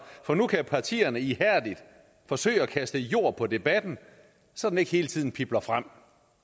for nu kan partierne ihærdigt forsøge at kaste jord på debatten så den ikke hele tiden pibler frem